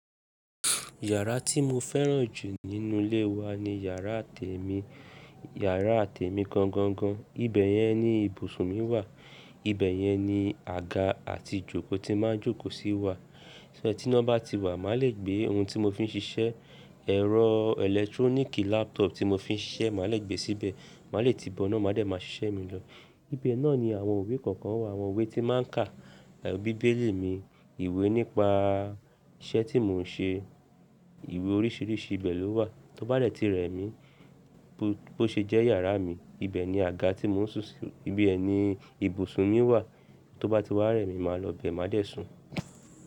Yàrá tí mo fẹ́ràn jù nínú ilé wa ni yàrá te mi. Yàrá te mi gangan gan, ibi yẹn ni ibùsùn mi wà, ibẹ̀ yẹn ni àga àti ijòkó ti máa ń jókò sí wà. Tí iná bá ti wà, màá le gbé ohun tí mo fi ń ṣiṣẹ́, ẹ̀rọ ẹlẹ́tróníkì laptop tí mo fi ń ṣiṣẹ́, màá le gbé síbẹ̀, màá le ti bọ iná, màá dẹ̀ máa ṣiṣẹ́ mi lọ. Ibẹ̀ nani àwọn ìwé kọ̀kan wà àwọn ìwé tí n máa ń kà bíbélì mi, ìwé nípa iṣẹ́ tí mon ń ṣe ìwé oríṣiríṣi ibẹ̀ lówà. Tó bá dè ti rẹ̀ mí bó ṣe jẹ́ yàrá mi, ibẹ̀ ni àga tí mò ń sun si, ibẹ̀ ni ibùsùn mi wà, tó bá ti wá rẹ̀ mí, màá lọ bẹ̀, màá dẹ̀ sùn.